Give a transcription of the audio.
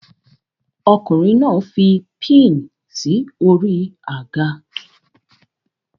Ọkùnrin náà fi pin sí orí àga